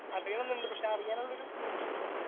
അറിയണംന്നുണ്ട്. പക്ഷെ അറിയാനുള്ളൊരു